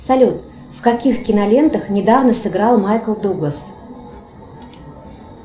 салют в каких кинолентах недавно сыграл майкл дуглас